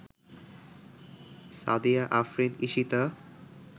Sadia Afrin Ishita